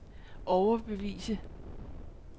overbevise